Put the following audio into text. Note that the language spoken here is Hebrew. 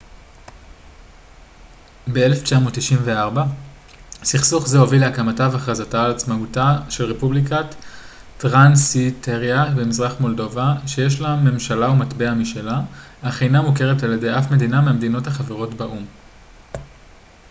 ב-1994 סכסוך זה הוביל להקמתה והכרזה על עצמאותה של רפובליקת טרנסניסטריה במזרח מולדובה שיש לה ממשלה ומטבע משלה אך אינה מוכרת על ידי אף מדינה מהמדינות החברות באו ם